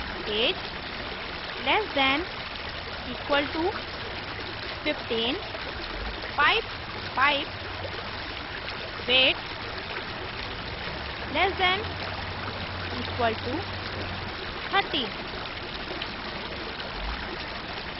age less than equal to 15 pipe pipe weight less than equal to 30